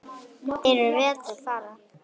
Þeir eru vel til fara.